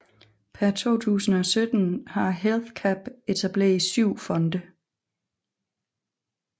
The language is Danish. Per 2017 har HealthCap etableret syv fonde